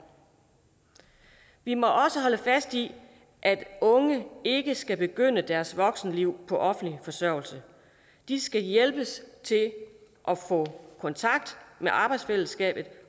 vi må også holde fast i at unge ikke skal begynde deres voksenliv på offentlig forsørgelse de skal hjælpes til at få kontakt med arbejdsfællesskabet